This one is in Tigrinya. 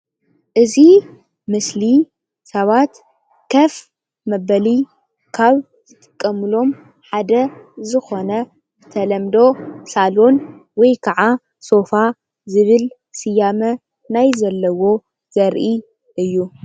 እዚ ምስሊ ናይ ገዛ ሶፋ ኮይኑ ኮፍ ንምባል ይጠቅም።